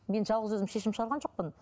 мен жалғыз өзім шешім шығарған жоқпын